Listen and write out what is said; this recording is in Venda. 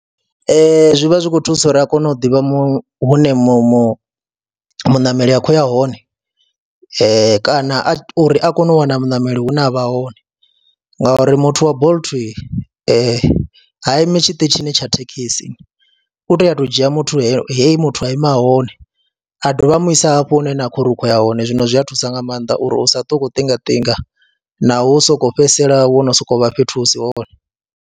Ee, zwi vha zwi khou thusa uri a kone u ḓivha mu hune mu muṋameli a khou ya hone kana a uri a kone u wana muṋameli hune a vha hone ngauri muthu wa Bolt ha imi tshiṱitshini tsha thekhisi, u tea u tou dzhia muthu heyi, he muthu a ima hone, a dovha a mu isa hafho hune ha vha uri u khuu ya hone, zwino zwi a thusa nga maanḓa uri u sa ṱo u khou ṱingaṱinga na u sokou fhedzisela wo no sokou vha fhethu hu si hone.